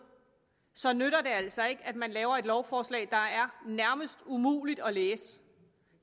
så altså ikke nytter at man laver et lovforslag der nærmest er umuligt at læse